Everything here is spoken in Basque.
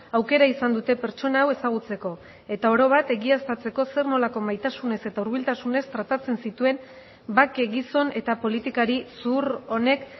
aukera izan dute pertsona hau ezagutzeko eta oro bat egiaztatzeko zer nolako maitasunez eta hurbiltasunez tratatzen zituen bake gizon eta politikari zuhur honek